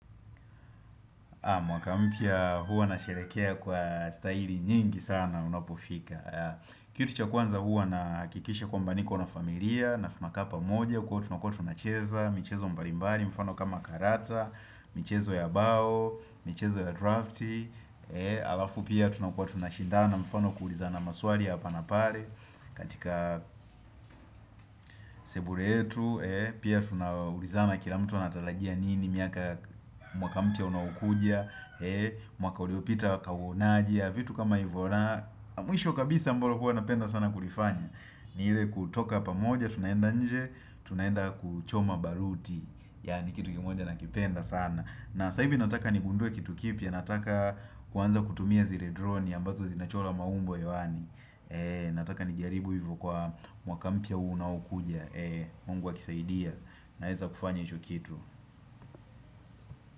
Mwaka mpya huwa nasherehekea kwa staili nyingi sana unapofika. Kitu cha kwanza huwa naakikisha kwamba niko na familia, na tunakaa pamoja, kwa tunakuwa tunacheza, michezo mbalimbali, mfano kama karata, michezo ya bao, michezo ya drafti, alafu pia tunakuwa tunashindana, mfano kuulizana maswali ya hapa na pale, katika sebule yetu pia tunaulizana kila mtu anatarajia nini mwaka mpya unao kuja Mwakauliopita wakauonaje vitu kama ivo ra Mwisho kabisa ambalo huwa napenda sana kulifanya ni ile kutoka pamoja Tunaenda nje Tunaenda kuchoma baruti Yani kitu kimoja nakipenda sana na saa hivi nataka nigundue kitu kipya Nataka kuanza kutumia zile drone ambazo zinachora maumbo hewani Nataka nijiaribu hivyo kwa Mwakampya unao kuja Mungu akisaidia Naeza kufanya hicho kitu.